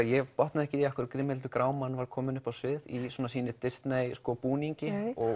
ég botnaði ekki í af hverju Grímhildur grámann var komin upp á svið í sínum Disney búningi og